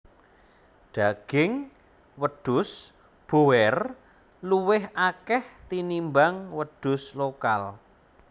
Daging wedhus boer luwih akeh tinimbang wedhus lokal